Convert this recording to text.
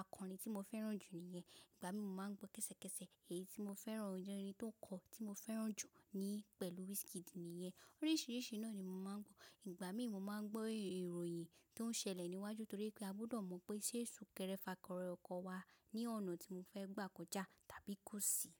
akọ̀orin tí mo fẹ́ràn jù ni yẹn. Ìgbà mí mo máa ń gbọ́ kẹ́sẹ̀kẹ́sẹ̀ èyí tí mo fẹ́ràn, ọmọ orin tó ń kọ tí mo fẹ́ràn jù ni pẹ̀lú Wizkid ni ẹ. Oríṣìíríṣìí náà ni mo máa ń gbọ́. Ìgbà mí mo máa ń gbọ́ ìròyìn tó ń ṣẹlẹ̀ níwájú torí pé a gbọdọ̀ mọ̀ pé ṣé ń ṣú kẹrẹ fà kọrẹ ọkọ̀ wa ní ọ̀nà tí mo fẹ́ gbà kọjá tàbí kò sí.